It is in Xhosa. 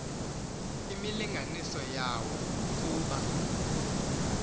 imilinganiso yawo ukuba